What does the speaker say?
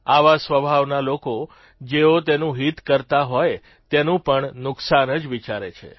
આવા સ્વભાવના લોકો જેઓ તેનું હિત કરતા હોય તેનું પણ નુકસાન જ વિચારે છે